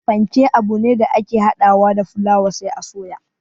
Panke abune da ake hada wa da fulaawa sai a soya